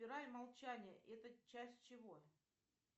молчание это часть чего